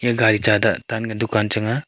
e gaari cha da tan ka dukan chang aa.